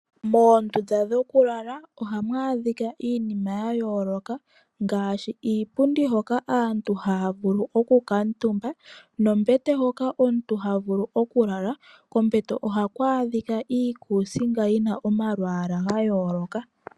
Moondunda dhokulala ohamu adhika iinima ya yooloka, ngaashi iipundi hoka aantu haya vulu okukuuntumba, nombete hoka omuntu ha vulu okulala. Kombete hoka ohaku adhika iikusinga yina omalwaala ga yooloka.